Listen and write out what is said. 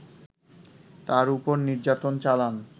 তার ওপর নির্যাতন চালান